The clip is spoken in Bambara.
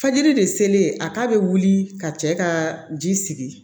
Fajiri de selen a k'a bɛ wuli ka cɛ ka ji sigi